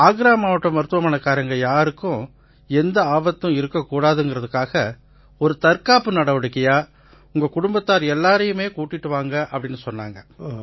ஆக்ரா மாவட்ட மருத்துவமனைக்காரங்க யாருக்கும் எந்த ஆபத்தும் இருக்க கூடாதுங்கறதுக்காக ஒரு தற்காப்பு நடவடிக்கையா உங்க குடும்பத்தார் எல்லாரையுமே கூட்டிக்கிட்டு வாங்கன்னாங்க